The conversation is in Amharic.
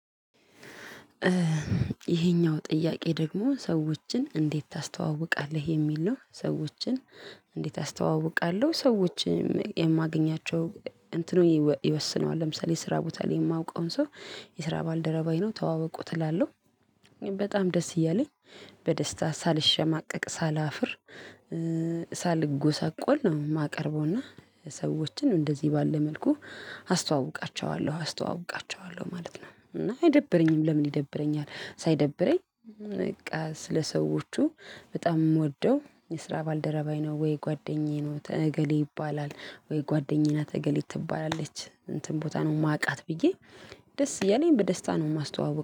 ይሄኛው ጥያቄ ደግሞ ሰዎችን እንዴት ታስተዋውቃለህ የሚል ነው? ሰዎችን እንዴት አስተዋውቃለሁ ሰዎችን የማገኛቸው እንትኑ ይወስነዋል ለምሳሌ ስራ ቦታ ላይ የማውቀውን ሰው የስራ ባልደረባዬ ነው ተዋወቁት እላለሁ። እኔም በጣም ደስ እያለኝ በደስታ ሳልሸማቀቅ ሳላፍር ሳልጎሳቆል ነው። የማቀርበውና ሰዎችን እንደዚህ ባለ መልኩ አስተዋውቃቸዋለሁ አስተዋውቃቸዋለሁ ማለት ነው። እና አይደብረኝም። ለምን ይደብረኛል? ሳይደብረኝ በቃ ስለሰዎቹ በጣም የምወደው የስራ ባልደረባዬ ነው ወይ ጓደኛዬ ነው እገሌ ይባላል ወይ ጓደኛዬ ናት እገሌት ትባላለች እንትን ቦታ ነው የማውቃት ብዬ ደስ እያለኝ በደስታ ነው የማስተዋውቀው